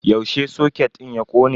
Yaushe soket din ya kone?